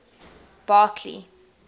barkley